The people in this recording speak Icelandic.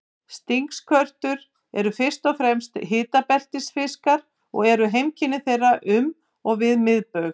Stingskötur eru fyrst og fremst hitabeltisfiskar og eru heimkynni þeirra um og við miðbaug.